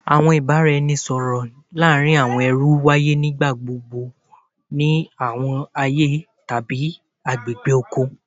Awọn ibaraẹnisọrọ laarin awọn ẹrú nigbagbogbo waye ni awọn aaye tabi awọn agbegbe oko